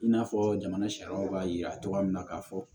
I n'a fɔ jamana sariyaw b'a yira cogoya min na k'a fɔ